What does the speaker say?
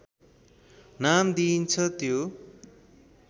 नाम दिइन्छ त्यो